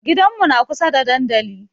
Gidanmu na kusa da dandali.